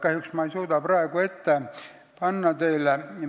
Kahjuks ma ei suuda seda ülevaadet praegu teie ette panna.